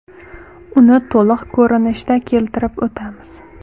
Uni to‘liq ko‘rinishda keltirib o‘tamiz.